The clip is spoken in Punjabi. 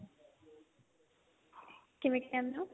ਕਿਵੇਂ ਕਹਿਨੇ ਓ